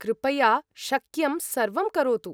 कृपया शक्यं सर्वं करोतु।